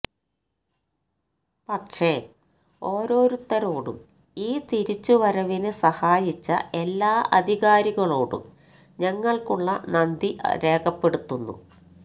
പക്ഷേ ഓരോരുത്തരോടും ഈ തിരിച്ചുവരവിന് സഹായിച്ച എല്ലാ അധികാരികളോടും ഞങ്ങള്ക്കുള്ള നന്ദി രേഖപ്പെടുത്തുന്നു